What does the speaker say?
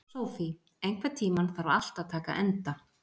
Sophie, einhvern tímann þarf allt að taka enda.